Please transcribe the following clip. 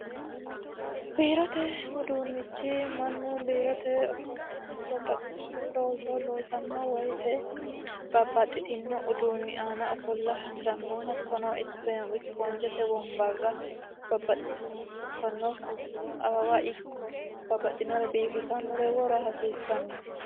biirote uduunnichi mannu biirote ofollanno babbaxino looso loosanno woyite babbaxitino uduunni aana ofolla hasirannohaisiphoonjete wonbarrababbaxinore awawa ikko babbaxinore biifisannore wora hasiissanno